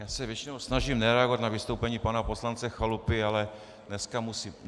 Já se většinou snažím nereagovat na vystoupení pana poslance Chalupy, ale dneska musím.